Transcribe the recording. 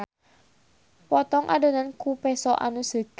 Potong adonan ku peso anu seukeut.